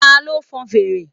Ta ló fon fèrè?